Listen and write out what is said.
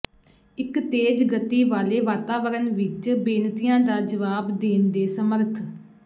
ਇੱਕ ਤੇਜ਼ ਗਤੀ ਵਾਲੇ ਵਾਤਾਵਰਣ ਵਿੱਚ ਬੇਨਤੀਆਂ ਦਾ ਜਵਾਬ ਦੇਣ ਦੇ ਸਮਰੱਥ